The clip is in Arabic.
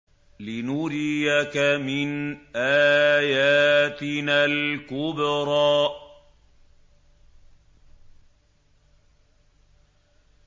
لِنُرِيَكَ مِنْ آيَاتِنَا الْكُبْرَى